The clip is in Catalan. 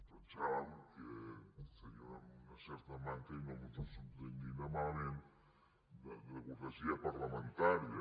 pensàvem que seria una certa manca i no s’ho prenguin malament de cortesia parlamentària